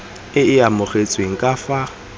e e amogetsweng ka fa